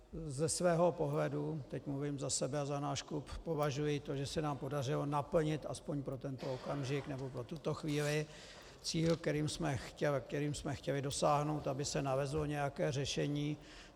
Ze svého pohledu, teď mluvím za sebe a za náš klub, považuji to, že se nám podařilo naplnit aspoň pro tento okamžik nebo pro tuto chvíli cíl, kterým jsme chtěli dosáhnout, aby se nalezlo nějaké řešení.